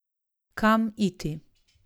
Kam iti?